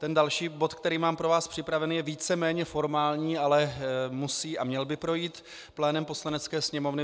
Ten další bod, který mám pro vás připravený, je víceméně formální, ale musí a měl by projít plénem Poslanecké sněmovny.